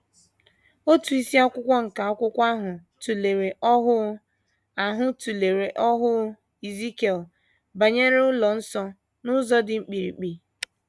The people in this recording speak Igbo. Otu isiakwụkwọ nke akwụkwọ ahụ tụlere ọhụụ ahụ tụlere ọhụụ Ezikiel banyere ụlọ nsọ, n’ụzọ dị mkpirikpi.